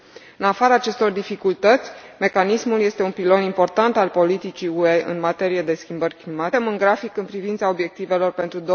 În afara acestor dificultăți, mecanismul este un pilon important al politicii UE în materie de schimbări climatice și suntem în grafic în privința obiectivelor pentru